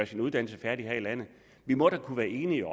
sin uddannelse færdig her i landet vi må da kunne være enige